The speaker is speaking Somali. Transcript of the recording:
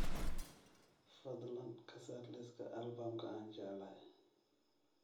fadlan ka saar liiska albaamka aan jeclahay